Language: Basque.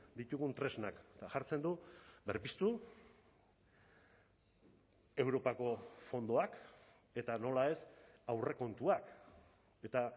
ditugun tresnak eta jartzen du berpiztu europako fondoak eta nola ez aurrekontuak eta